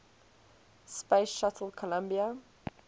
space shuttle columbia